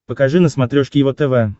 покажи на смотрешке его тв